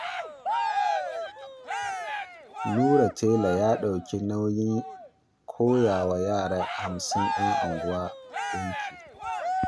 Nura tela ya ɗauki nauyin koyawa yara hamsin 'yan unguwa ɗinki